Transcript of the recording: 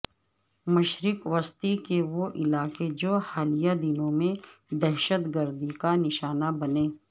مشرق وسطی کے وہ علاقے جو حالیہ دنوں میں دہشت گردی کا نشانہ بنے